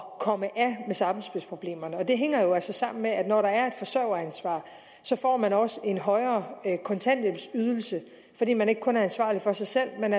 komme af med sammenspilsproblemerne og det hænger jo altså sammen med at når der er et forsørgeransvar får man også en højere kontanthjælpsydelse fordi man ikke kun er ansvarlig for sig selv men